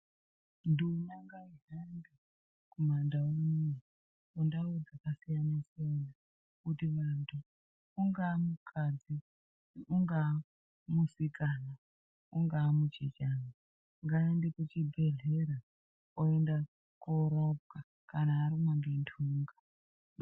Nduma ngaihambe kumandau unoo kundau dzakasiyanasiyana kutimunhu ungaamukadzi unga musikana ungaa muchechena ngaende kuchibhehlera kana arumwa ngenhunga.